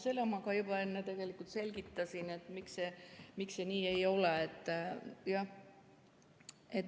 Seda ma ka enne juba selgitasin, miks see nii ei ole.